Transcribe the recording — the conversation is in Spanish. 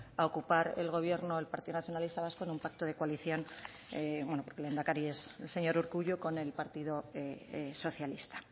a ocupar el gobierno el partido nacionalista vasco en un pacto de coalición que aquí el lehendakari es el señor urkullu con el partido socialista